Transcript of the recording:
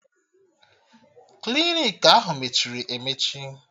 Klinik ahụ mechiri emechi